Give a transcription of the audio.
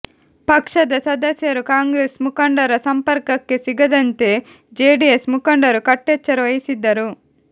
ಪಕ್ಷದ ಸದಸ್ಯರು ಕಾಂಗ್ರೆಸ್ ಮುಖಂಡರ ಸಂಪರ್ಕಕ್ಕೆ ಸಿಗದಂತೆ ಜೆಡಿಎಸ್ ಮುಖಂಡರು ಕಟ್ಟೆಚ್ಚರ ವಹಿಸಿದ್ದರು